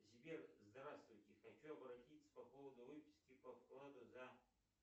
сбер здравствуйте хочу обратиться по поводу выписки по вкладу за